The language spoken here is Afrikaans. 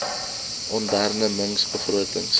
onderne mings begrotings